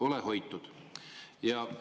Ole hoitud!